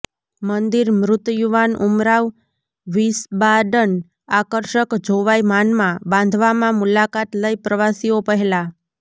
મંદિર મૃત યુવાન ઉમરાવ વિસ્બાડન આકર્ષક જોવાઈ માનમાં બાંધવામાં મુલાકાત લઈ પ્રવાસીઓ પહેલા